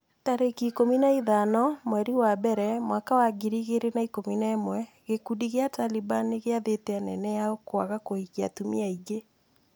tarĩki ikũmi na ithano mweri wa mbere mwaka wa ngiri igĩrĩ na ikũmi na ĩmwe gĩkundi gĩa Taliban nĩgĩathĩte anene ao kwaga kũhikia atumia aingĩ.